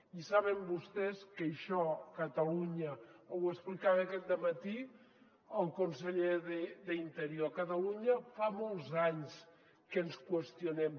i saben vostès que això a catalunya ho explicava aquest dematí el conseller d’interior fa molts anys que ens qüestionem